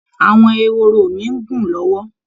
Àwọn ehoro mi ń gùn lọ́wọ́